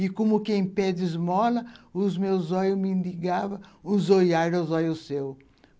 E como quem pede esmola, os meus olhos mendigavam, os olharem dos olhos seus.